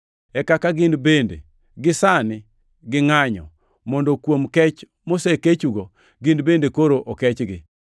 e kaka gin bende sani gingʼanyo, mondo kuom kech mosekechugo, gin bende koro okechgi.